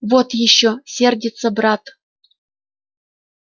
вот ещё сердится брат